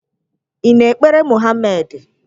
Ị na-ekpere Mohamedị?